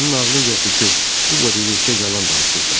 Sənin ağlın yoxdur ki, bu boyda yekə yalan danışırsan.